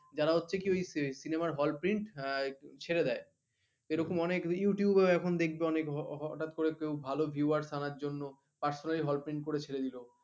যারা হচ্ছে কি ওই cinema র hallprint আহ ছেড়ে দেয় এরকম অনেক youtuber দেখবে অনেক হঠাৎ করে কেউ ভালো viewer টানার জন্য personally Hall print করে ছেড়ে দিল